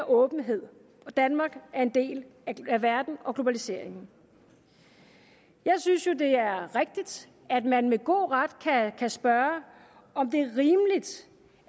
åbenhed danmark er en del af verden og globaliseringen jeg synes jo det er rigtigt at man med god ret kan spørge om det